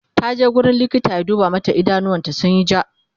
taje wurin likita ya duba mata idanuwar ta sunyi ja